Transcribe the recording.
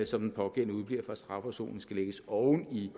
som den pågældende udebliver fra en strafafsoning skal lægges oven i